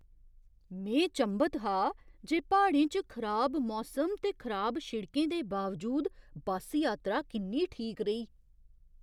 में चंभत हा जे प्हाड़ें च खराब मौसम ते खराब शिड़कें दे बावजूद बस्स यात्रा किन्नी ठीक रेही!